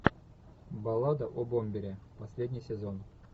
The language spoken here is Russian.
баллада о бомбере последний сезон